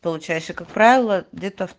получается как правило где то